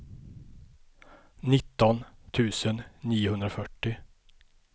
nitton tusen niohundrafyrtio